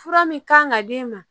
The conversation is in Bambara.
Fura min kan ka d'e ma